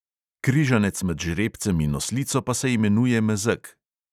Križanec med žrebcem in oslico pa se imenuje mezeg.